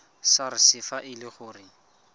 sars fa e le gore